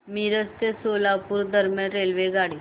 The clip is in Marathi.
मिरज ते सोलापूर दरम्यान रेल्वेगाडी